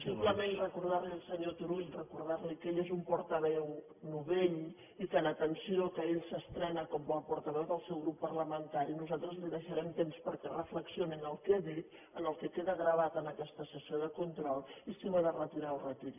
simplement recordar li al senyor turull recordar li que ell és un portaveu novell i que en atenció al fet que ell s’estrena com a portaveu del seu grup parlamentari nosaltres li deixarem temps perquè reflexioni en el que ha dit en el que queda gravat en aquesta sessió de control perquè si ho ha de retirar ho retiri